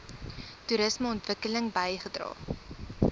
toerisme ontwikkeling bygedra